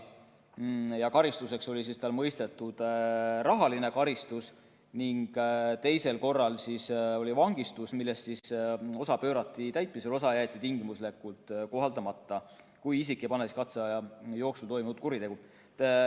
Karistuseks oli talle mõistetud rahaline karistus ning teisel korral vangistus, millest osa pöörati täitmisele, osa jäeti tingimuslikult kohaldamata, kui isik ei pane katseaja jooksul toime uut kuritegu.